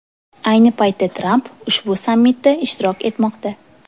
Ayni paytda Tramp ushbu sammitda ishtirok etmoqda.